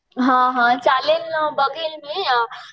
हां हां चालेल नं बघेल मी